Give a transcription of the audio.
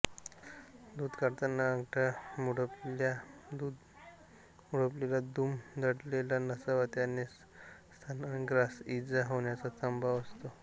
दूध काढतांना अंगठा मुडपलेलादुमडलेला नसावा त्याने स्तनाग्रास ईजा होण्याचा संभव असतो